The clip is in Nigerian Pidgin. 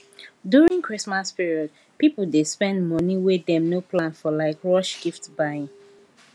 during christmas period people dey spend money wey dem no plan for like rush gift buying